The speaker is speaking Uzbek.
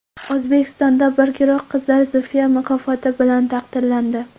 O‘zbekistonda bir guruh qizlar Zulfiya mukofoti bilan taqdirlandi.